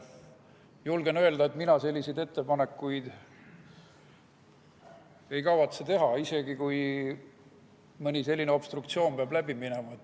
Julgen öelda, et mina selliseid ettepanekuid ei kavatse teha, isegi kui mõni selline obstruktsioon peab läbi minema.